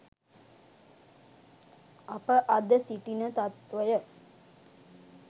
අප අද සිටින තත්වය